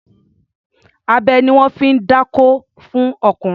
Abẹ ni wọ́n fi ń dákó fún ọkùnrin.